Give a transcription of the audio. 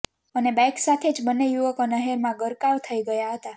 અને બાઈક સાથે જ બંને યુવકો નહેરમાં ગરકાવ થઈ ગયા હતા